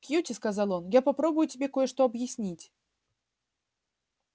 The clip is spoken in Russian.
кьюти сказал он я попробую тебе кое-что объяснить